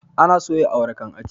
Ana soya awara kan a ci